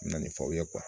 Na nin fɔ aw ye